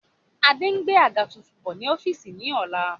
Adé ń gbé àga tuntun bọ̀ ni ọ́fíìsì ni ọ̀la